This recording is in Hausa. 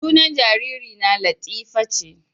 Sunan jaririna latifa ce